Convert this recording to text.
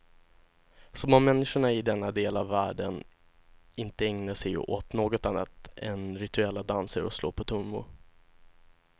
Som om människorna i denna del av världen inte ägnar sig åt något annat än rituella danser och slå på trummor.